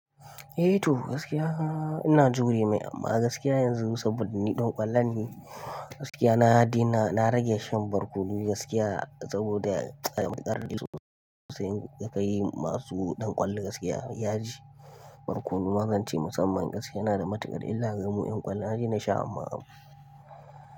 Eh toh gaskiya ina jure mai amma gaskiya yanzu saboda ni ɗan ƙwallon ne, gaskiya na daina na rage shan barkono gaskiya saboda tsamin ƙarin su sai ka yi masu ɗan ƙwallo gaskiya yaji. Barkono na zance musamman gaskiya yana da matuƙa illa ga mu ƴan ƙwallo. Na daina sha amma.